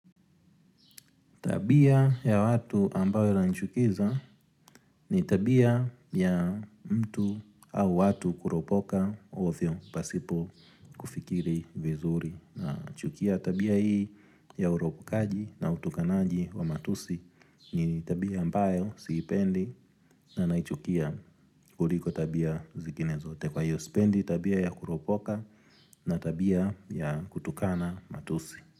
Tabia ya watu ambayo inanichukiza ni tabia ya mtu au watu kuropoka ovyo pasipo kufikiri vizuri. Na chukia tabia hii ya uropokaji na utukanaji wa matusi ni tabia ambayo sipendi na naichukia kuliko tabia zikine zote. Kwa hiyo sipendi tabia ya kuropoka na tabia ya kutukana matusi.